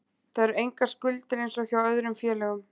Það eru engar skuldir eins og hjá öðrum félögum.